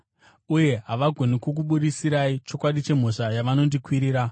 Uye havagoni kukubudisirai chokwadi chemhosva yavanondikwirira.